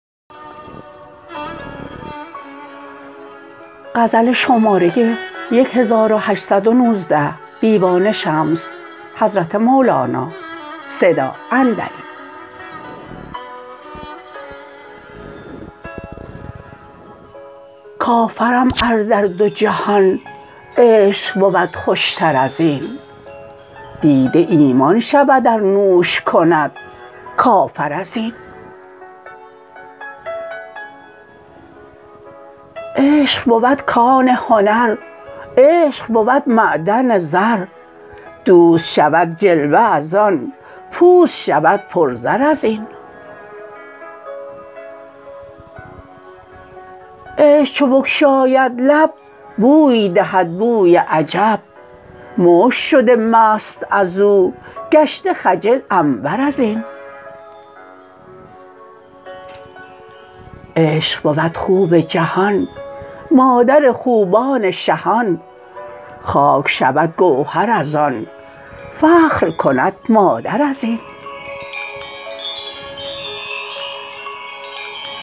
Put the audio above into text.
کافرم ار در دو جهان عشق بود خوشتر از این دیده ایمان شود ار نوش کند کافر از این عشق بود کان هنر عشق بود معدن زر دوست شود جلوه از آن پوست شود پرزر از این عشق چو بگشاید لب بوی دهد بوی عجب مشک شده مست از او گشته خجل عنبر از این عشق بود خوب جهان مادر خوبان شهان خاک شود گوهر از آن فخر کند مادر از این